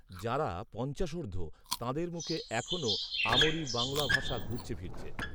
যাঁরা পঞ্চাশোর্ধ্ব‌‌, তাঁদের মুখে এখনও আ মরি বাংলা ভাষা ঘুরছে ‌‌ফিরছে